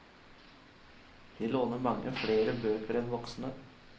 De låner mange flere bøker enn voksne.